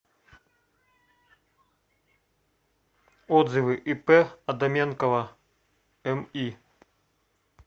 отзывы ип адаменкова ми